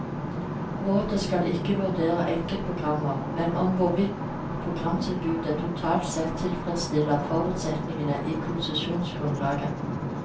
Rådet skal ikke vurdere enkeltprogrammer, men om hvorvidt programtilbudet totalt sett tilfredsstiller forutsetningene i konsesjonsgrunnlaget.